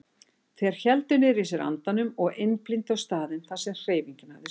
Þeir héldu niðri í sér andanum og einblíndu á staðinn þar sem hreyfingin hafði sést.